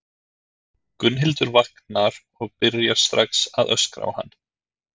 Gunnhildur vaknar og byrjar strax að öskra á hann.